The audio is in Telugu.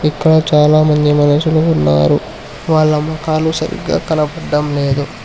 ఇక్కడ చాలామంది మనుషులు ఉన్నారు వాళ్ళ మొఖాలు సరిగ్గా కనపడ్డం లేదు.